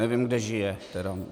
Nevím, kde žije teda.